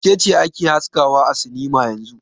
Wace ce ake haskawa a sinima yanzun?